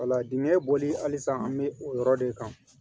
Wala dingɛ bɔli halisa an bɛ o yɔrɔ de kan